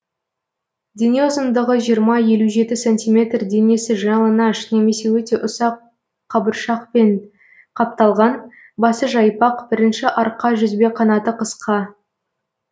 дене ұзындығы жиырма елу жеті сантиметр денесі жалаңаш немесе өте ұсақ қабыршақпен қапталған басы жайпақ бірінші арқа жүзбеқанаты қысқа